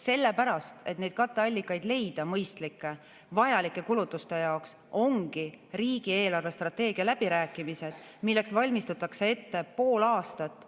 Sellepärast, et neid katteallikaid leida, mõistlikke, vajalike kulutuste jaoks, ongi riigi eelarvestrateegia läbirääkimised, milleks valmistatakse ette pool aastat.